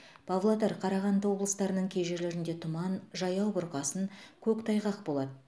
павлодар қарағанды облыстарының кей жерлерінде тұман жаяу бұрқасын көктайғақ болады